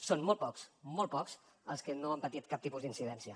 són molt pocs molt pocs els que no han patit cap tipus d’incidència